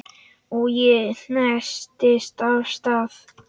Og ég hentist af stað.